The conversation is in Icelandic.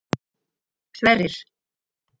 Sverrir